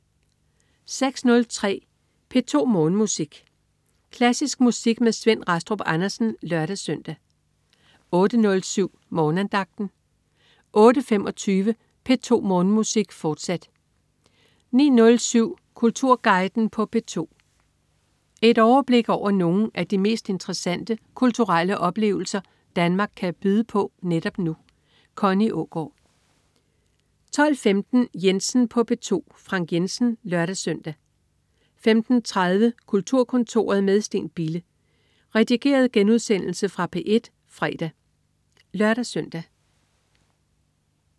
06.03 P2 Morgenmusik. Klassisk musik med Svend Rastrup Andersen (lør-søn) 08.07 Morgenandagten 08.25 P2 Morgenmusik, fortsat 09.07 Kulturguiden på P2. Et overblik over nogle af de mest interessante kulturelle oplevelser Danmark kan byde på netop nu. Connie Aagaard 12.15 Jensen på P2. Frank Jensen (lør-søn) 15.30 Kulturkontoret med Steen Bille. Redigeret genudsendelse fra P1 fredag (lør-søn)